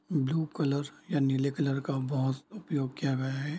Blue colour या नीले colour का बहुत उपयोग किया गया है।